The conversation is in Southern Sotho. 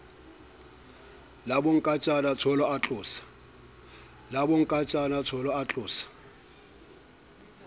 la bonkantjana tsholo a tlosa